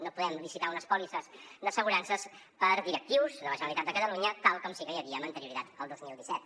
no podem licitar unes pòlisses d’assegurances per a directius de la generalitat de catalunya tal com sí que n’hi havia amb anterioritat al dos mil disset